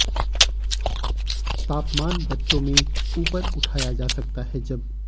तापमान बच्चों में ऊपर उठाया जा सकता है जब